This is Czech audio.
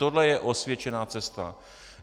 Tohle je osvědčená cesta.